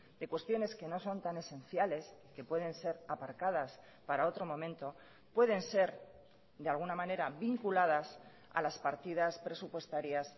de cuestiones que no son tan esenciales que pueden ser aparcadas para otro momento pueden ser de alguna manera vinculadas a las partidas presupuestarias